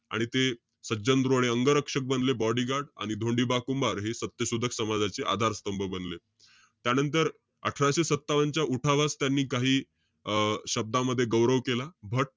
आणि ते सज्जन रोडे अंगरक्षक बनले, bodygaurd. आणि धोंडिबा कुंभार हे सत्यशोधक समाजाचे आधारस्तंभ बनले. त्यानंतर, अठराशे सत्तावन्न च्या, उठावास त्यांनी काही अं शब्दामध्ये गौरव केला.